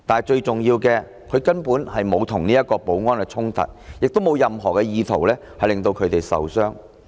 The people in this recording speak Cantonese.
最重要的是，他根本沒有與保安衝突，亦沒有任何意圖令他們受傷。